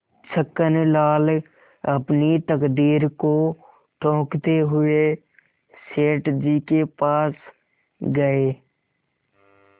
छक्कनलाल अपनी तकदीर को ठोंकते हुए सेठ जी के पास गये